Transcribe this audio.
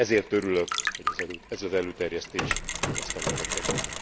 Ezért örülök, hogy ez az előterjesztés az asztalunkra került.